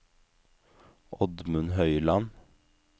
Oddmund Høyland